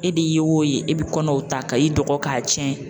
E de ye o ye e bi kɔnɔw ta ka i dɔgɔ k'a tiɲɛ.